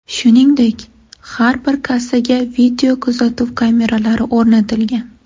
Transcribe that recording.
Shuningdek, har bir kassaga videokuzatuv kameralari o‘rnatilgan.